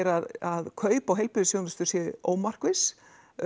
að kaup á heilbrigðisþjónustu séu ómarkviss